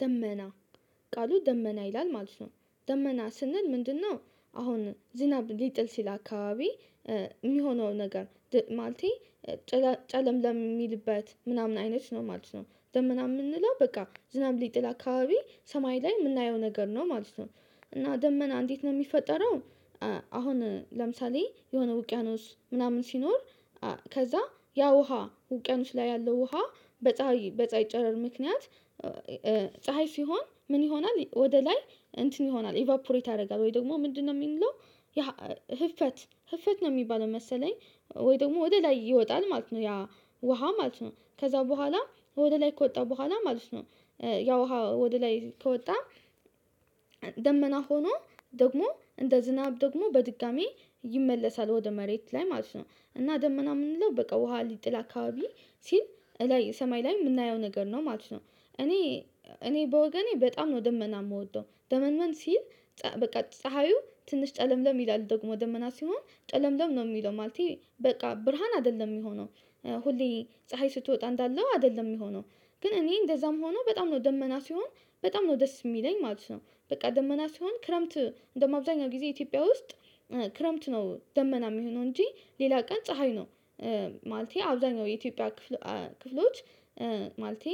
ደመና ቃሉ ደመና ይላል ማለት ነው። ደመና ስንል ምንድነው? አሁን ዝናብ ሊጥል ሲል አካባቢ የሚሆነው ነገር ማለቴ ጨለምለም ሚልበት ምናምን አይነት ነው ማለት ነው። ደመና የምንለው በቃ ዝናብ ሊጥል አካባቢ ሰማይ ላይ የምናየው ነገር ነው ማለት ነው። እና ደመና እንዴት ነው የሚፈጠረው? አሁን ለምሳሌ የሆነ ውቅያኖስ ምናምን ሲኖር ከዛ ያ ውሃ ውቅያኖስ ላይ ያለው ውሃ በፀሀይ በፀሀይ ጨረር ምክንያት። ፀሀይ ሲሆን ምን ይሆናል ወደ ላይ እንትን ይሆናል ኢቫፖሬት ያደርጋል ወይ ደግሞ ምንድነው የሚለው? ያ ህፈት ህፈት ነው የሚባለው መሰለኝ። ወይ ደግሞ ወደ ላይ ይወጣል ማለት ነው። ያ ውሃ ማለት ነው ከዛ በኋላ ወደ ላይ ከወጣ በኋላ ማለት ነው። ያውሃ ወደ ላይ ከወጣ ደመና ሆኖ ደግሞ እንደ ዝናብ ደግሞ በድጋሚ ይመለሳል ወደ መሬት ላይ ማለት ነው። እና ደመና የምንለው በቃ ውሃ ሊጥል አካባቢ ሲል ሰማይ ላይ የምናየው ነገር ነው ማለት ነው። እኔ እኔ በወገኔ በጣም ነው ደመና የምወደው ደመንመን ሲል በቃ ፀሀዩ ትንሽ ጨለምለም ይላል ደግሞ ደመና ሲሆን ጨለምለም ነው የሚለው ማለቴ በቃ ብርሃን አይደለም የሚሆነው። ሁሌ ፀሀይ ስትወጣ እንዳለው አይደለም የሚሆነው። ግን እኔ እንደዛም ሆኖ በጣም ነው ደመና ሲሆን በጣም ነው ደስ የሚለኝ ማለት ነው። በቃ ደመና ሲሆን ክረምት እንደማብዛኛው ጊዜ ኢትዮጵያ ውስጥ ክረምት ነው ደመና የሚሆነው እንጂ ሌላ ቀን ፀሀይ ነው። ማለቴ አብዛኛው የኢትዮጵያ ክፍሎች ክፍሎች ማለቴ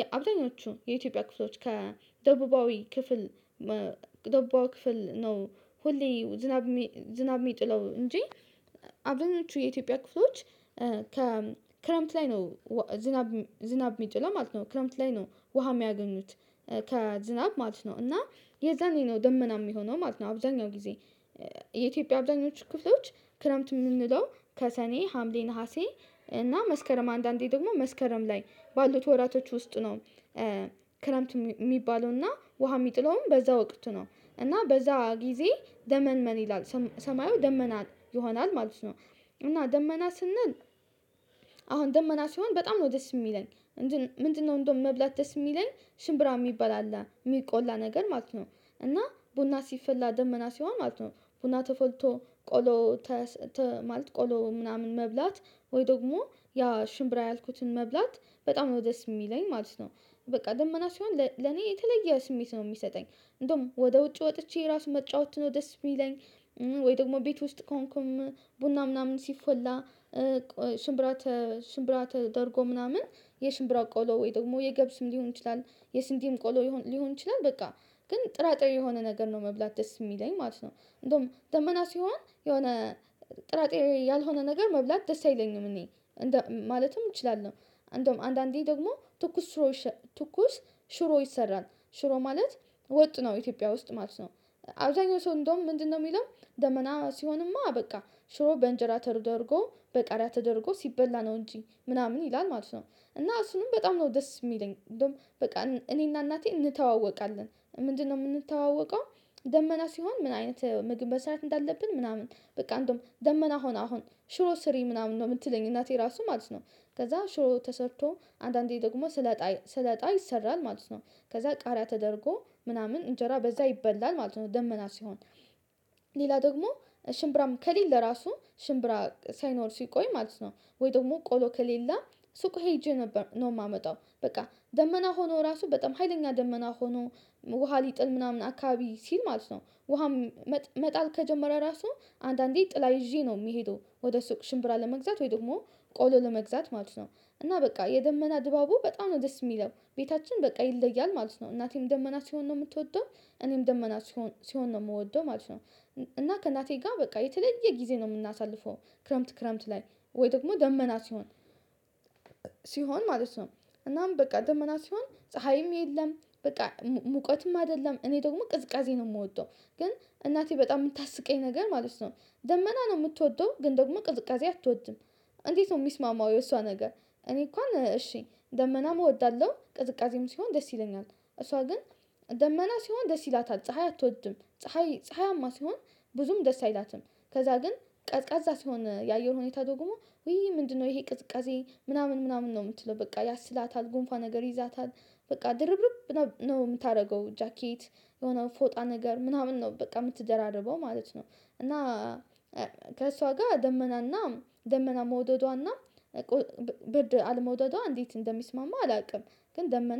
የአብዛኞቹ የኢትዮጵያ ክፍሎች ከደቡባዊ ክፍል ደቡባዊ ክፍል ነው ሁሌ ዝናብ ዝናብ የሚጥለው እንጂ። አብዛኞቹ የኢትዮጵያ ክፍቶች ከክረምት ላይ ነው ዝናብ ዝናብ የሚጥለው ማለት ነው። ክረምት ላይ ነው ውሃ የሚያገኙት ከዝናብ ማለት ነው። እና የዛኔ ነው ደመና የሚሆነው ማለት ነው። አብዛኛው ጊዜ የኢትዮጵያ አብዛኞቹ ክረምት የምንለው ከሰኔ ሀምሌ ነሀሴ እና መስከረም አንዳንዴ ደግሞ መስከረም ላይ ባሉት ወራቶች ውስጥ ነው። ክረምት የሚባለውና ውሃ የሚጥለውም በዛ ወቅት ነው። እና በዛ ጊዜ ደመንመን ይላል ሰማዩ ደመና ይሆናል ማለት ነው። እና ደመና ስንል አሁን ደመና ሲሆን በጣም ነው ደስ የሚለኝ። ምንድነው እንደውም መብላት ደስ የሚለኝ ሽምብራ የሚባል የሚቆላ ነገር ማለት ነው። እና ቡና ሲፈላ ደመና ሲሆን ማለት ነው ቡና ተፈልቶ ቆሎ ማለት ቆሎ ምናምን መብላት ወይ ደግሞ ያ ሽምብራ ያልኩትን መብላት በጣም ነው ደስ የሚለኝ ማለት ነው። በቃ ደመና ሲሆን ለኔ የተለየ ስሜት ነው የሚሰጠኝ እንደውም ወደ ውጭ ወጥቼ ራሱን መጫወት ነው ደስ የሚለኝ። ወይ ደግሞ ቤት ውስጥ ከሆንኩም ቡና ምናምን ሲፎላ ሽምብራ ሽምብራ ተደርጎ ምናምን የሽምብራ ቆሎ ወይ ደግሞ የገብስም ሊሆን ይችላል። የስንዴም ቆሎ ሊሆን ይችላል በቃ ግን ጥራጥሬ የሆነ ነገር ነው መብላት ደስ የሚለኝ ማለት ነው። እንደውም ደመና ሲሆን የሆነ ጥራጥሬ ያልሆነ ነገር መብላት ደስ አይለኝም። እኔ ማለትም እችላለሁ። እንደውም አንዳንዴ ደግሞ ትኩስ ሽሮ ትኩስ ሽሮ ይሰራል ሽሮ ማለት ወጥ ነው ኢትዮጵያ ውስጥ ማለት ነው። አብዛኛው ሰው እንደውም ምንድነው የሚለው ደመና ሲሆንማ በቃ ሽሮ በእንጀራ ተደርጎ በቃሪያ ተደርጎ ሲበላ ነው እንጂ ምናምን ይላል ማለት ነው። እና እሱንም በጣም ነው ደስ የሚለኝ እንደውም በቃ እኔና እናቴ እንተዋወቃለን ምንድነው የምንተዋወቀው? ደመና ሲሆን ምን አይነት ምግብ መስራት እንዳለብን ምናምን በቃ እንደውም ደመና ሆና አሁን ሽሮ ስሪ ምናምን ነው የምትለኝ እናቴ ራሱ ማለት ነው። ከዛ ሽሮ ተሰርቶ አንዳንዴ ደግሞ ስለጣ ስለጣ ይሰራል ማለት ነው። ከዛ ቃሪያ ተደርጎ ምናምን እንጀራ በዛ ይበላል ማለት ነው። ደመና ሲሆን ሌላ ደግሞ ሽምብራም ከሌለ ራሱ ሽምብራ ሳይኖር ሲቆይ ማለት ነው። ወይ ደግሞ ቆሎ ከሌለ ሱቅ ሄጄ ነበር ነው የማመጣው በቃ ደመና ሆኖ ራሱ በጣም ሀይለኛ ደመና ሆኖ ውሃ ሊጥል ምናምን አካባቢ ሲል ማለት ነው። ውሃም መጣል ከጀመረ ራሱ አንዳንዴ ጥላ ይዤ ነው የሚሄደው ወደ ሱቅ ሽምብራ ለመግዛት ወይ ደግሞ ቆሎ ለመግዛት ማለት ነው። እና በቃ የደመና ድባቡ በጣም ነው ደስ የሚለው ቤታችን በቃ ይለያል ማለት ነው። እናቴም ደመና ሲሆን ነው የምትወደው እኔም ደመና ሲሆን ነው የምወደው ማለት ነው። እና ከእናቴ ጋር በቃ የተለየ ጊዜ ነው የምናሳልፈው ክረምት ክረምት ላይ ወይ ደግሞ ደመና ሲሆን ሲሆን ማለት ነው። እናም በቃ ደመና ሲሆን ፀሀይም የለም በቃ ሙቀትም አይደለም እኔ ደግሞ ቅዝቃዜ ነው የምወጣው። ግን እናቴ በጣም የምታስቀኝ ነገር ማለት ነው። ደመና ነው የምትወደው ግን ደግሞ ቅዝቃዜ አትወድም። እንዴት ነው የሚስማማው የእሷ ነገር? እኔ እንኳን እሺ ደመናም እወዳለሁ ቅዝቃዜም ሲሆን ደስ ይለኛል እሷ ግን። ደመና ሲሆን ደስ ይላታል ፀሀይ አትወድም ፀሀይ ፀሀያማ ሲሆን ብዙም ደስ አይላትም። ከዛ ግን ቀዝቃዛ ስሆን የአየር ሁኔታ ደግሞ ውይ ምንድነው ይሄ ቅዝቃዜ ምናምን ምናምን ነው የምትለው በቃ ያስላታል ጉንፋን ነገር ይይዛታል። በቃ ድርብርብ ነው የምታደርገው ጃኬት የሆነ ፎጣ ነገር ምናምን ነው በቃ የምትደራርበው ማለት ነው። እና ከእሷ ጋር ደመናና ደመና መውደዷና ብርድ አለመውደዷ እንዴት እንደሚስማማ አላውቅም። ግን ደመና